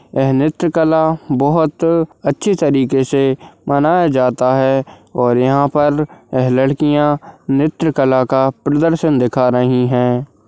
ये है नृत्य कला बोहोत अच्छी तरीके से मनाया जाता है और यहां पर लड़कियाँ नृत्य कला का प्रदर्शन दिखा रही है।